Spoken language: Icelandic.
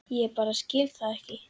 Ég bara skil það ekki.